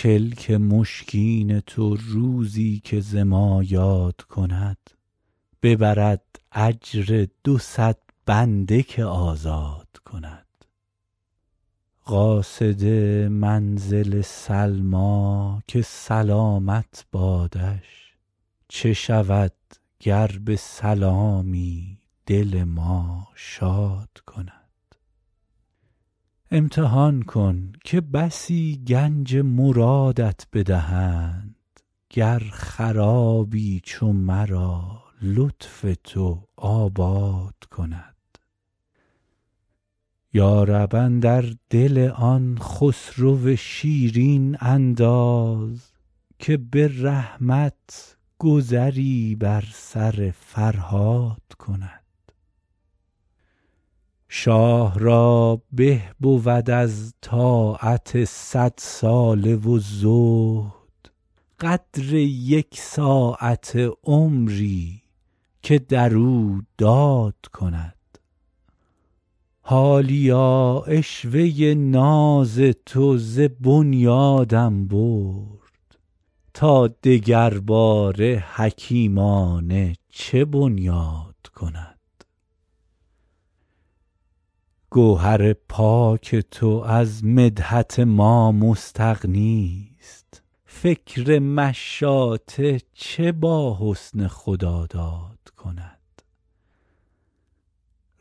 کلک مشکین تو روزی که ز ما یاد کند ببرد اجر دو صد بنده که آزاد کند قاصد منزل سلمیٰ که سلامت بادش چه شود گر به سلامی دل ما شاد کند امتحان کن که بسی گنج مرادت بدهند گر خرابی چو مرا لطف تو آباد کند یا رب اندر دل آن خسرو شیرین انداز که به رحمت گذری بر سر فرهاد کند شاه را به بود از طاعت صدساله و زهد قدر یک ساعته عمری که در او داد کند حالیا عشوه ناز تو ز بنیادم برد تا دگرباره حکیمانه چه بنیاد کند گوهر پاک تو از مدحت ما مستغنیست فکر مشاطه چه با حسن خداداد کند